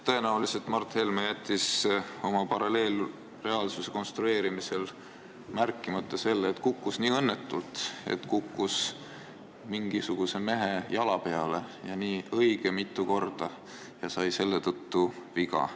Tõenäoliselt jättis Mart Helme oma paralleelreaalsuse konstrueerimisel märkimata selle, et ta kukkus nii õnnetult, et kukkus mingisuguse mehe jala peale õige mitu korda ja sai selle tõttu viga.